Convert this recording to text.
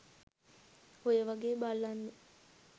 ඔය වගෙ බල්ලන්ව